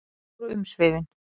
Slík voru umsvifin.